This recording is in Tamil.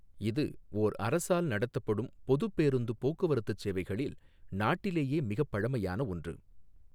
இது, ஓர் அரசால் நடத்தப்படும் பொதுப் பேருந்துப் போக்குவரத்துச் சேவைகளில் நாட்டிலேயே மிகப் பழமையான ஒன்று.